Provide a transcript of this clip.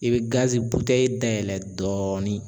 I be gazi butɛyi dayɛlɛ dɔɔni